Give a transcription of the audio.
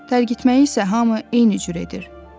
Tərgitməyi isə hamı eyni cür edir.